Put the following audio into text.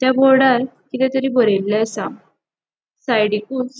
त्या बोर्डार किते तरी बरेले आसा साइडीकूच --